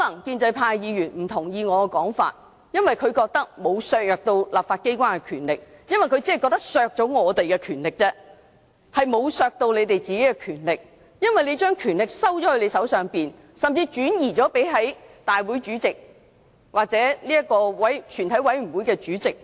建制派議員可能不同意我的說法，因為他們認為沒有削弱立法機關的權力，只是削弱反對派的權力，而沒有削弱他們的權力，因為他們把權力收在自己手上，甚至轉移至立法會主席或全體委員會主席手上。